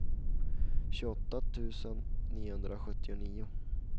tjugoåtta tusen niohundrasjuttionio